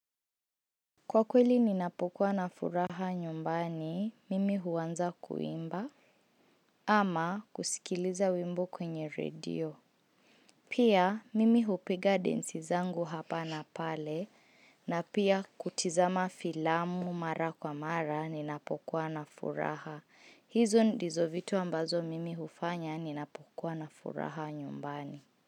Kwa kweli ninapokuwa na furaha nyumbani, mimi huanza kuimba ama kusikiliza wimbo kwenye radio. Pia mimi hupiga densi zangu hapa na pale na pia kutizama filamu mara kwa mara ninapokuwa na furaha. Hizo ndizo vitu ambazo mimi hufanya ninapokuwa na furaha nyumbani.